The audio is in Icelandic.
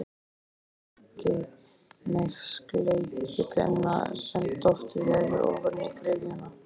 Hún krakki með sleikipinna sem dottið hefur ofan í gryfjuna.